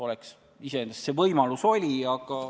Oleks võinud küll, iseenesest see võimalus oli.